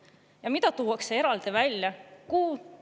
Ja mida tuuakse eraldi välja?